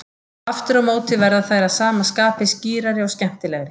Aftur á móti verða þær að sama skapi skýrari og skemmtilegri.